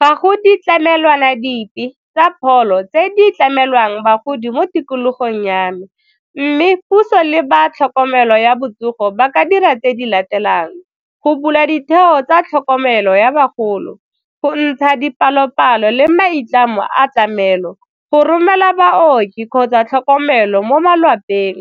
Ga go ditlamelwana dipe tsa pholo tse di tlamelwang bagodi mo tikologong ya me mme puso le ba tlhokomelo ya botsogo ba ka dira tse di latelang, go bula ditheo tsa tlhokomelo ya bagolo, go ntsha dipalo-palo le maitlamo a tlamelo, go romela baoki kgotsa tlhokomelo mo malapeng,